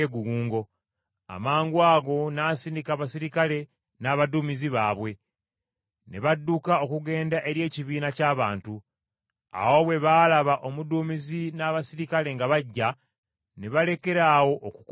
Amangwago n’asindika abaserikale n’abaduumizi baabwe, ne badduka okugenda eri ekibiina ky’abantu. Awo bwe baalaba omuduumizi n’abaserikale nga bajja, ne balekeraawo okukuba Pawulo.